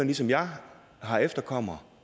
ligesom jeg har efterkommere